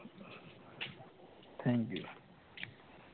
Thank you